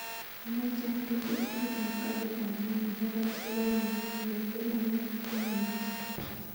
Amoche atil tikitit ap karit ap maat nepo rajdhani kongeten nairobi kwo mombasa